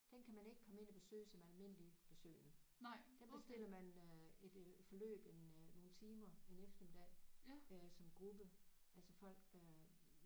Den kan man ikke komme ind og besøge som almindelig besøgende den bestiller man øh et øh forløb en øh nogle timer en eftermiddag øh som gruppe altså folk øh